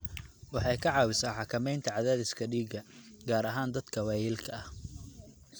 Waxay ka caawisaa xakamaynta cadaadiska dhiigga, gaar ahaan dadka waayeelka ah.